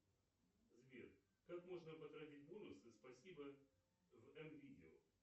сбер как можно потратить бонусы спасибо в м видео